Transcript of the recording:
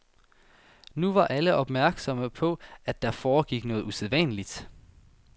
Nu var alle opmærksomme på, at der foregik noget usædvanligt.